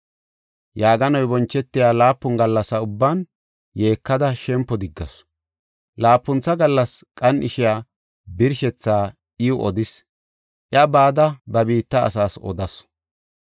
Yaaganoy bonchetiya laapun gallasa ubban yeekada shempo diggasu. Laapuntha gallas qan7ishiya birshethaa iw odis; iya bada ba biitta asaas odasu.